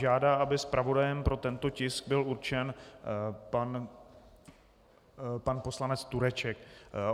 Žádá, aby zpravodajem pro tento tisk byl určen pan poslanec Tureček.